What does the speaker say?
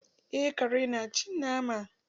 Eh kare na cin nama.